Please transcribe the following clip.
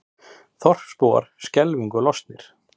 Þorpsbúar skelfingu lostnir